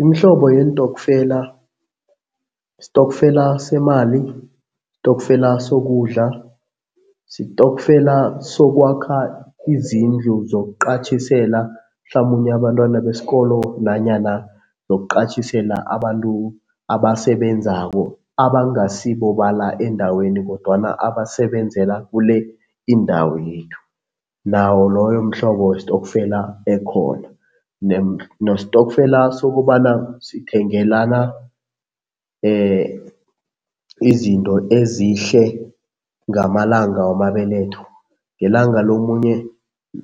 Imihlobo yeentokfela sitokfela semali, sitokfela sokudla, sitokfela sokwakha izindlu zokuqatjhisela mhlamunye abantwana besikolo nanyana yokuqatjhisela abantu abasebenzako abangasibo bala endaweni kodwana abasebenzela kule indawo yethu, nawo loyo mhlobo wesitokfela ekhona. Nesitokfela sokobana sithengelana izinto ezihle ngamalanga wamabeletho. Ngelanga lomunye